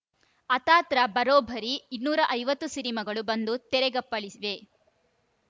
ಅಥಾತ್‌ರ ಬರೋಬ್ಬರಿ ಇನ್ನೂರ ಐವತ್ತು ಸಿನಿಮಾಗಳು ಬಂದು ತೆರೆಗಪ್ಪಳಿಸಿವೆ